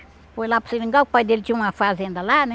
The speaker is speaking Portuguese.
Foi lá para o seringal, que o pai dele tinha uma fazenda lá, né?